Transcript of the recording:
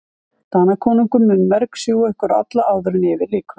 Danakonungur mun mergsjúga ykkur alla áður en yfir lýkur.